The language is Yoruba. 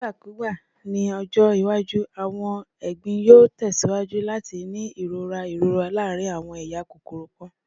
Nigbakugba ni ọjọ iwaju, awọn egbin yoo tẹsiwaju lati ni irora irora laarin awọn eya kokoro kan.